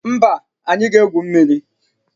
Mba, anyị ga-egwu mmiri